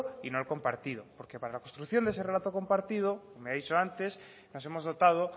y no el compartido porque para la construcción de ese relato compartido me ha dicho antes que nos hemos dotado